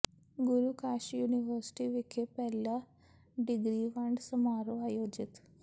ਗੁਰੂ Kashi university ਵਿਖੇ ਪਹਿਲਾ degree ਵੰਡ ਸਮਾਰੋਹ ਆਯੋਜਿਤ